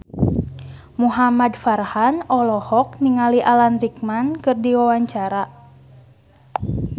Muhamad Farhan olohok ningali Alan Rickman keur diwawancara